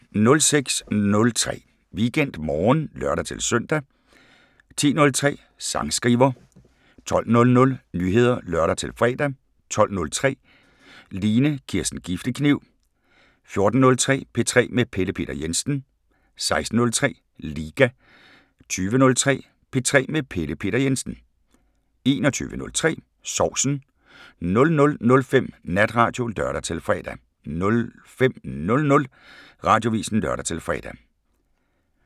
06:03: WeekendMorgen (lør-søn) 10:03: Sangskriver 12:00: Nyheder (lør-fre) 12:03: Line Kirsten Giftekniv 14:03: P3 med Pelle Peter Jensen 16:03: Liga 20:03: P3 med Pelle Peter Jensen 21:03: Sovsen 00:05: Natradio (lør-fre) 05:00: Radioavisen (lør-fre)